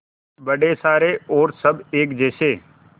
बड़े सारे और सब एक जैसे